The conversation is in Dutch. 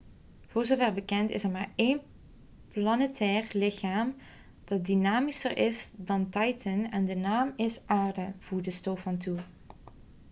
voor zover bekend is er maar één planetair lichaam dat dynamischer is dan titan en de naam is aarde' voegde stofan toe